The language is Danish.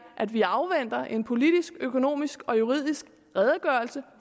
at vi afventer en politisk økonomisk og juridisk redegørelse